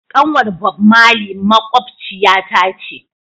Kanwar bob Merely makwabciyata ta ce